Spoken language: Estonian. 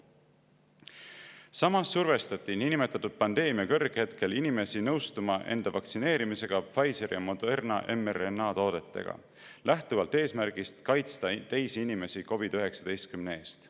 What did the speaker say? Samas survestati niinimetatud pandeemia kõrghetkel inimesi nõustuma enda vaktsineerimisega Pfizeri ja Moderna mRNA-toodetega lähtuvalt eesmärgist kaitsta teisi inimesi COVID‑19 eest.